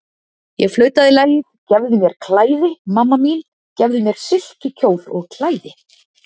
Ég flautaði lagið, gefðu mér klæði, mamma mín, gefðu mér silkikjól og klæði.